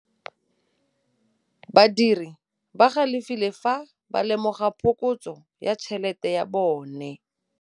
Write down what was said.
Badiri ba galefile fa ba lemoga phokotsô ya tšhelête ya bone.